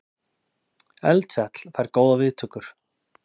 Eldfjall fær góðar viðtökur